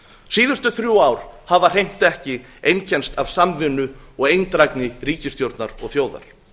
síðustu þrjú ár hafa hreint ekki einkennst að samvinnu og eindrægni ríkisstjórn og þjóðar